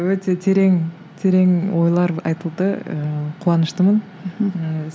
өте терең терең ойлар айтылды ыыы қуаныштымын мхм